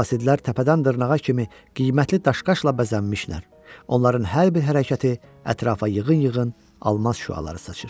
Qasidlər təpədən dırnağa kimi qiymətli daşqaşla bəzənmişlər, onların hər bir hərəkəti ətrafa yığın-yığın almaz şüaları saçır.